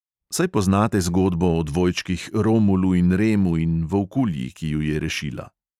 Saj poznate zgodbo o dvojčkih romulu in remu in volkulji, ki ju je rešila.